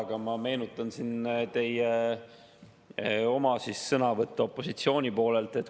Aga ma meenutan siin teie oma sõnavõttu opositsiooni poolelt.